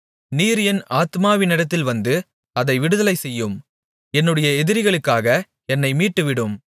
நீர் என் ஆத்துமாவினிடத்தில் வந்து அதை விடுதலைசெய்யும் என்னுடைய எதிரிகளுக்காக என்னை மீட்டுவிடும்